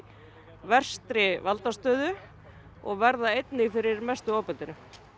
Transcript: verstri valdastöðu og verða fyrir versta ofbeldinu